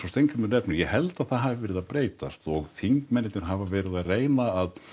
Steingrímur nefnir ég held að það hafi verið að breytast og þingmennirnir hafa verið að reyna að